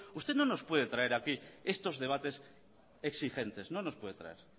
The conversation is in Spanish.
usted no nos puede traer aquí estos debates exigentes no los puede traer